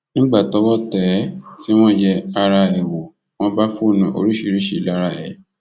nígbà tọwọ tẹ ẹ tí wọn yẹ ara ẹ wò wọn bá fóònù oríṣiríṣiì lára ẹ